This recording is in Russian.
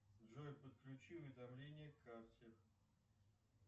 джой подключи уведомление к кассе